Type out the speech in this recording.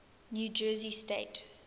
new jersey state